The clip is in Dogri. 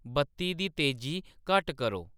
बत्ती दी तेज़ी घट्ट करो